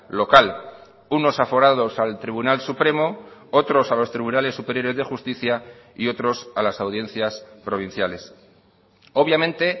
local unos aforados al tribunal supremo otros a los tribunales superiores de justicia y otros a las audiencias provinciales obviamente